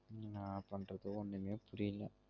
என்னா பண்றது ஒன்னுமே புரியல